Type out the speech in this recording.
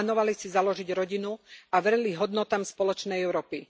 Plánovali si založiť rodinu a verili hodnotám spoločnej Európy.